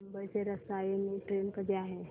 मुंबई ते रसायनी ट्रेन कधी आहे